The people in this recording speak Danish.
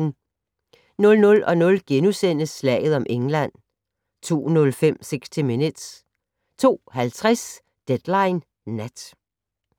00:00: Slaget om England * 02:05: 60 Minutes 02:50: Deadline Nat